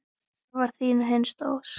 Það var þín hinsta ósk.